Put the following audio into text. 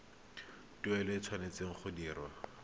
tuelo e tshwanetse go dirwa